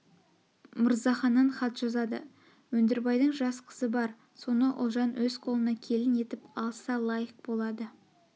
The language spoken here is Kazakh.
мырзаханнан хат жазады өндірбайдың жас қызы бар соны ұлжан өз қолына келін етіп алса лайық болады